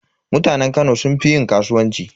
Mutanen Kano sun fi yin kasuwanci.